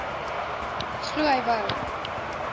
glo hy wou